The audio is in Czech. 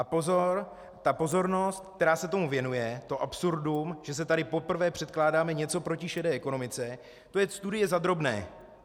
A pozor, ta pozornost, která se tomu věnuje, to absurdum, že se tady poprvé předkládáme něco proti šedé ekonomice, to je studie za drobné.